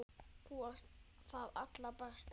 Þú varst það allra besta.